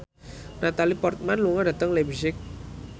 Natalie Portman lunga dhateng leipzig